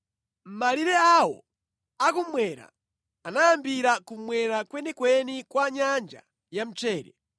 Malire awo a kummwera anayambira kummwera kwenikweni kwa Nyanja ya Mchere,